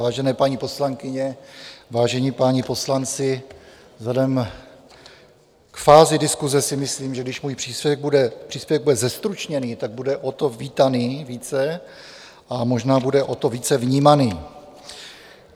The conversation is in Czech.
Vážené paní poslankyně, vážení páni poslanci, vzhledem k fázi diskuse si myslím, že když můj příspěvek bude zestručněný, tak bude o to vítaný více a možná bude o to více vnímaný.